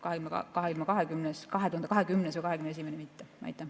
2020. ja 2021. aasta omad mitte.